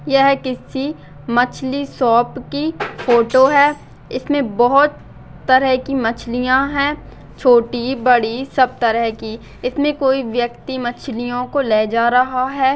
यहाँ किसी मछली शॉप की फोटो है इसमें बहोत तरह की मछलियाँ हैं छोटी बड़ी सब तरह की इसमें कोई व्यक्ति मछलियों को ले जा रहा है।